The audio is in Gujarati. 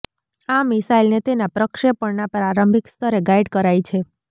આ મિસાઈલને તેના પ્રક્ષેપણના પ્રારંભિક સ્તરે ગાઈડ કરાય છે